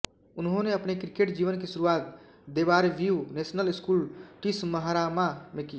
उन्होंने अपने क्रिकेट जीवन की शुरुआत देबारव्यू नेशनल स्कूल टिसमहारामा में की